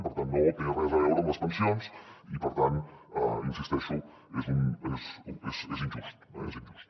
per tant no té res a veure amb les pensions i per tant hi insisteixo és injust eh és injust